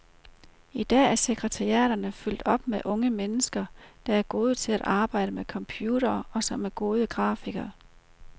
I dag er sekretariaterne fyldt op med unge mennesker, der er gode til at arbejde med computere og som er gode grafikere.